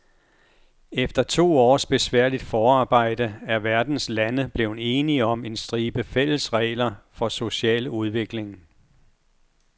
Efter to års besværligt forarbejde er verdens lande blevet enige om en stribe fælles regler for social udvikling.